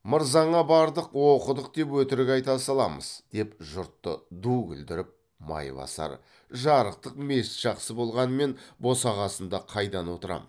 мырзаңа бардық оқыдық деп өтірік айта саламыз деп жұртты ду күлдіріп майбасар жарықтық мешіт жақсы болғанмен босағасында қайдан отырам